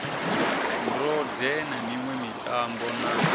ndode sa miṋwe mitambo na